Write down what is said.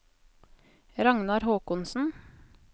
Ragnar Håkonsen